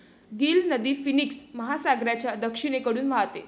Gill नदी Phoenix महासागराच्या दक्षिणेकडून वाहते.